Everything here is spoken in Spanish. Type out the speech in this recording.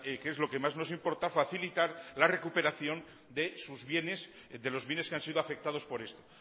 que es lo que más nos importa facilitar la recuperación de sus bienes de los bienes que han sido afectados por esto